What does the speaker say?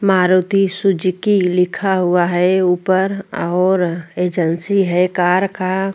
Maruti Suzuki लिखा हुआ है ऊपर अउर एजंसी है कार का।